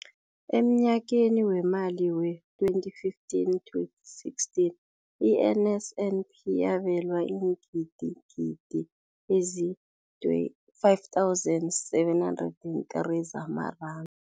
Emnyakeni weemali we-2015, 2016, i-NSNP yabelwa iingidigidi ezi-5 703 zamaranda.